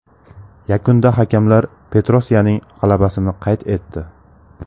Yakunda hakamlar Petrosyaning g‘alabasini qayd etdi.